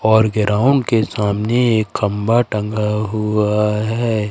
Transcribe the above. और ग्राउंड के सामने एक खंभा टंगा हुआ है।